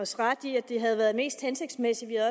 os ret i at det havde været mest hensigtsmæssigt at